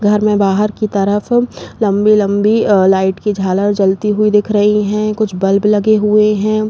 घर में बाहर की तरफ लम्बी लम्बी अ लाईट की ज़ालर जलती हुई दिख रही है। कुछ बल्ब लगे हुए हैं।